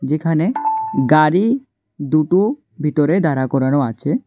এখানে গাড়ি দুটো ভিতরে দাঁড়া করানো আছে।